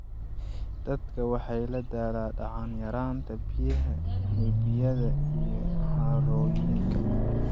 Dadka waxay la daalaa dhacaan yaraanta biyaha webiyada iyo harooyinka.